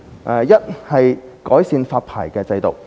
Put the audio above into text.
首先是改善發牌制度。